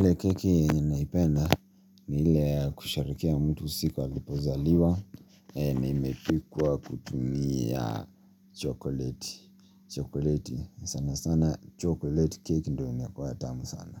Ile keki naipenda ni ile ya kusherehekea mtu siku alipozaliwa na imepikwa kutumia chocolate, chocolate sana sana chocolate cake ndio inakuanga tamu sana